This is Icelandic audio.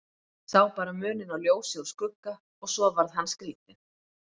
Sá bara muninn á ljósi og skugga og svo varð hann skrítinn.